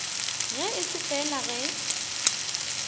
ge e se fela ge